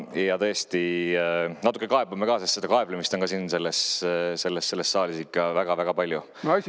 Ja tõesti natuke kaebame ka, sest seda kaeblemist on siin selles saalis ka ikka väga-väga palju.